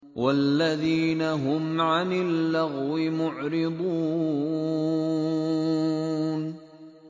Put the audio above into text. وَالَّذِينَ هُمْ عَنِ اللَّغْوِ مُعْرِضُونَ